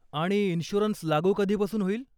आणि इन्श्युरन्स लागू कधीपासून होईल?